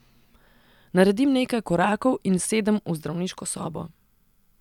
Naredim nekaj korakov in sedem v zdravniško sobo.